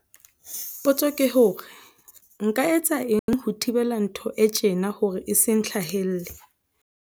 Potso ke hore, Nka etsa eng ho thibela ntho e tjena hore e se ntlhahele?